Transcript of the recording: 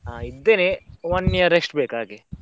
ಹಾ ಇದ್ದೇನೆ, one year rest ಬೇಕ್ ಹಾಗೆ.